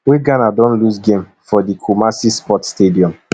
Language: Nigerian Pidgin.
wey ghana don lose game for di kumasi sports stadium